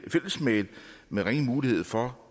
i fællesmail med ringe mulighed for